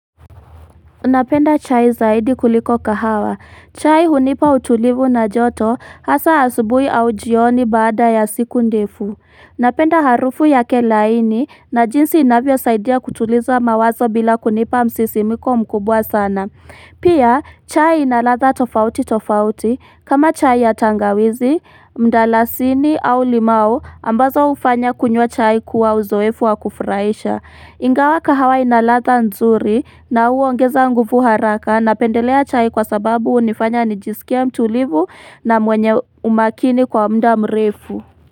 Unapenda chai zaidi kuliko kahawa. Chai hunipa utulivu na joto hasa asubuhi au jioni baada ya siku ndefu. Unapenda harufu ya ke laini na jinsi inavyo saidia kutuliza mawazo bila kunipa msisimiko mkubwa sana. Pia chai inaladha tofauti tofauti kama chai ya tangawizi, mdalasini au limau ambazo ufanya kunywa chai kuwa uzoefu wa kufuraisha. Ingawa kahawa inaladha nzuri na huongeza nguvu haraka na pendelea chai kwa sababu unifanya nijisikia mtuulivu na mwenye umakini kwa mda mrefu.